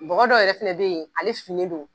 Mɔgɔdɔ yɛrɛ fɛnɛ bɛ yen ale sun ne do.